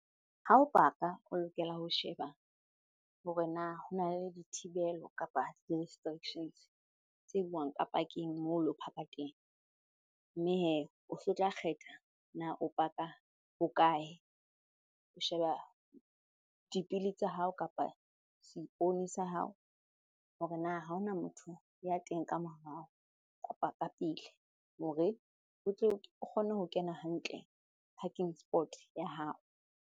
Hao paka o lokela ho sheba hore na hona le dithibelo kapa di-restrictions tse buang ka pakeng moo lo paka teng mme hee o so tla kgetha na o paka ho kae? O sheba dipili tsa hao kapa seipone sa hao hore na ha hona motho ya teng ka morao kapa ka pele hore o tle o kgone ho kena hantle parking spot ya hao.